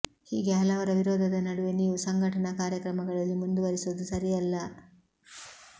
ಹೀಗೆ ಹಲವರ ವಿರೋಧದ ನಡುವೆ ನೀವು ಸಂಘಟನಾ ಕಾರ್ಯಕ್ರಮಗಳಲ್ಲಿ ಮುಂದುವರೆಸುವುದು ಸರಿಯಲ್ಲ